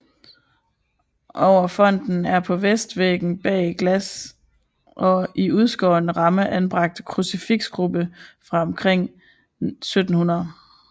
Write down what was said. Over fonten er på vestvæggen bag glas og i udskåret ramme anbragt en krucifiksgruppe fra omkring 1700